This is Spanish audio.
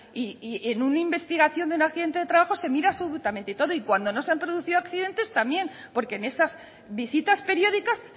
y en una investigación de un accidente de trabajo se mira absolutamente todo y cuando no se han producido accidentes también porque en esas visitas periódicas